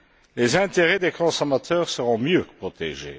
Les intérêts des consommateurs seront mieux protégés.